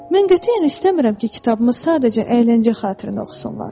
Mən qətiyyən istəmirəm ki, kitabımı sadəcə əyləncə xatirinə oxusunlar.